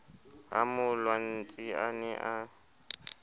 ha molwantsi a ne a